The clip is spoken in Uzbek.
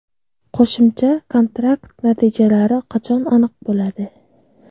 Qo‘shimcha kontrakt natijalari qachon aniq bo‘ladi?